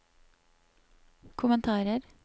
kommentarer